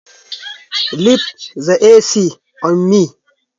Ki bar min raɓar a kunne!